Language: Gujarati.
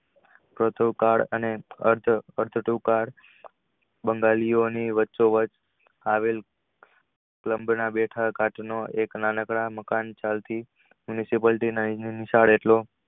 અર્થ થયુ card બંગાળી ની વાંચો વચ આવેલ એક નાનક્ડા મકાન મ્યુન્સીપાલટીના